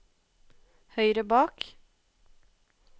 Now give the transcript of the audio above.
høyre bak